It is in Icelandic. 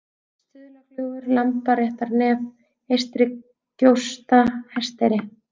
Stuðlagljúfur, Lambaréttarnef, Eystrigjósta, Hesteyri